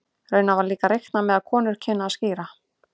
Raunar var líka reiknað með að konur kynnu að skíra.